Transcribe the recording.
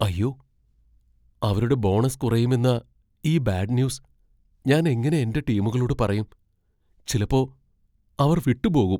അയ്യോ... അവരുടെ ബോണസ് കുറയുമെന്ന ഈ ബാഡ് ന്യൂസ് ഞാൻ എങ്ങനെ എന്റെ ടീമുകളോട് പറയും ? ചിലപ്പോ അവർ വിട്ടുപോകും.